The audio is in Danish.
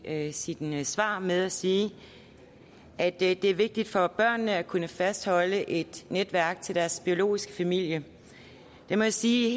af sine svar med at sige at det er vigtigt for børnene at kunne fastholde et netværk til deres biologiske familie der må jeg sige i